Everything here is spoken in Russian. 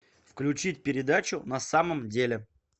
включить передачу на самом деле